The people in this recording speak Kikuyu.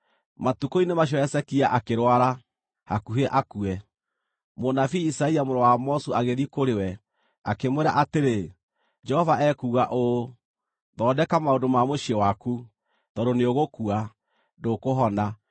Matukũ-inĩ macio Hezekia akĩrwara, hakuhĩ akue. Mũnabii Isaia mũrũ wa Amozu agĩthiĩ kũrĩ we, akĩmwĩra atĩrĩ, “Jehova ekuuga ũũ: Thondeka maũndũ ma mũciĩ waku, tondũ nĩũgũkua, ndũkũhona.”